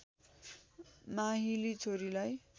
माहिली छोरीलाई